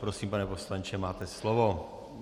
Prosím, pane poslanče, máte slovo.